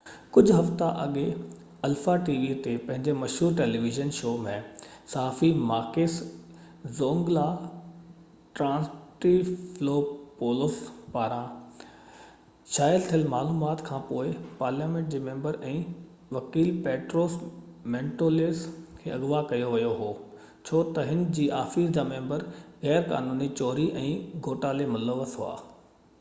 ڪجھه هفتا اڳي الفا ٽي وي تي پنهنجي مشهور ٽيليويزن شو zoungla ۾ صحافي ماڪيس ٽرانٽيفلوپولوس پاران شايع ٿيل معلومات کان پوءِ پارليامينٽ جي ميمبر ۽ وڪيل پيٽروس مينٽويلس کي اغوا ڪيو ويو هو ڇو ته هن جي آفيس جا ميمبر غير قانوني چوري ۽ گهوٽالي ملوث هئا